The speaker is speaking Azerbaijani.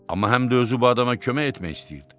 Amma həm də özü bu adama kömək etmək istəyirdi.